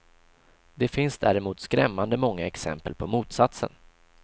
Det finns däremot skrämmande många exempel på motsatsen.